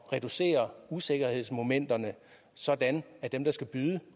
reducere usikkerhedsmomenterne sådan at dem der skal byde